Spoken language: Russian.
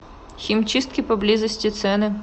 химчистки поблизости цены